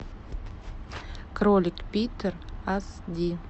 кролик питер аш ди